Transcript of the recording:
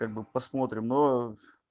как бы посмотрим но